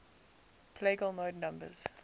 plagal mode numbers